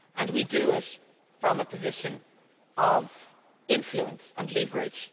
and that we do it from a position of influence and leverage.